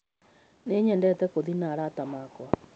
Nĩnyendete gũthĩi na arata akwa